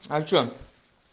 а что